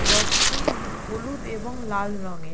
রথটি হলুদ এবং লাল রং এর।